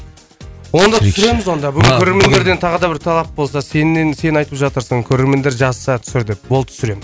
онда түсіреміз онда бүгін көрермендерден тағы да бір талап болса сенен сен айтып жатырсың көрермендер жазса түсір деп болды түсіремін